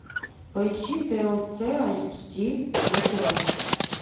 поищи тлц айч ди на тв